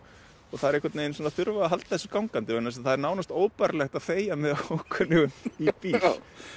þær einhvern veginn þurfa að halda þessu gangandi það er nánast óbærilegt að þegja með ókunnugum í bíl það